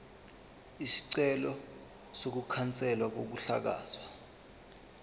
isicelo sokukhanselwa kokuhlakazwa